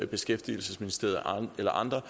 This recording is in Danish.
beskæftigelsesministeriet eller andre